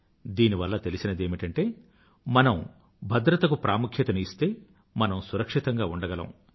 దీనివల్ల తెలిసినదేమిటంటే మనం భద్రతకు ప్రాముఖ్యతను ఇస్తే మనం సురక్షితంగా ఉంdaగలం